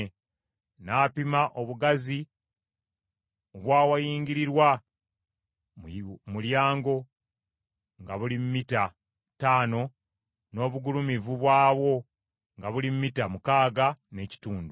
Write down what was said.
N’apima obugazi obw’awayingirirwa mu mulyango nga buli mita ttaano n’obugulumivu bwawo nga buli mita mukaaga n’ekitundu.